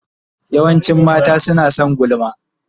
Yawancin mata suna son gulma.